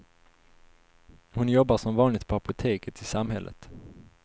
Hon jobbar som vanligt på apoteket i samhället.